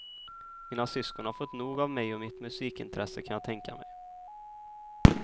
Mina syskon har fått nog av mig och mitt musikintresse, kan jag tänka mig.